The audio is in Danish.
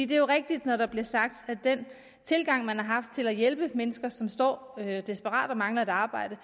det er jo rigtigt når der bliver sagt at den tilgang man har haft til at hjælpe mennesker som står desperat og mangler et arbejde